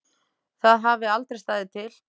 Það hafi aldrei staðið til.